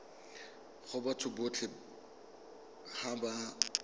go batho botlhe ba ba